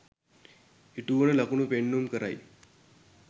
ඉටුවන ලකුණු පෙන්නුම් කරයි